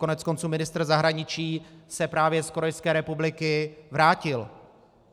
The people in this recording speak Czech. Koneckonců ministr zahraničí se právě z Korejské republiky vrátil.